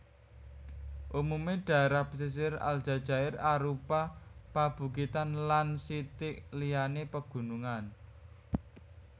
Umumé dhaérah pesisir Aljazair arupa pabukitan lan sithik liyané pagunungan